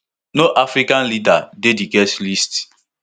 no african leader dey di guest list